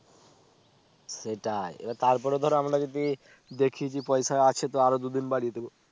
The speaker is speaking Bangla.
সেটাই এবার তার পরে ধরো আমরা যদি দেখি যে পয়সা আছে তো আরো দুই দিন বাড়িয়ে দিবো